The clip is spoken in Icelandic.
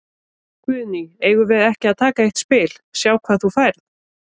Guðný: Eigum við ekki að taka eitt spil, sjá hvað þú færð?